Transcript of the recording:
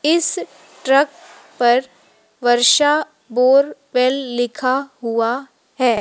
इस ट्रक पर वर्षा बोरवेल लिखा हुआ हैं।